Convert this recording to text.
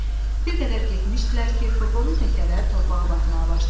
Bir qədər getmişdilər ki, furqonun təkərləri torpağa batmağa başladı.